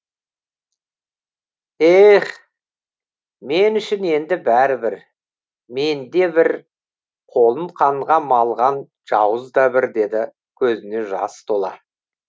ех мен үшін енді бәрібір мен де бір қолын қанға малған жауыз да бір деді көзіне жас тола